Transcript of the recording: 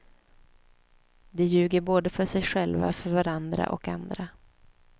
De ljuger både för sig själva, för varandra och andra.